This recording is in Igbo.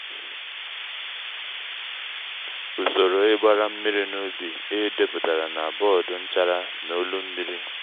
usoro ígbara mmiri n'ubi é dèpụ̀tara na bọ́ọ̀dụ́ nchara na ólú mmiri.